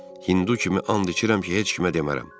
Hindu kimi and içirəm ki, heç kimə demərəm.